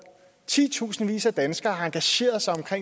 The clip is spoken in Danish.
ti tusindvis af danskere har engageret sig